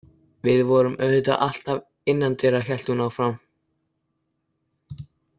Við vorum auðvitað alltaf innandyra, hélt hún áfram.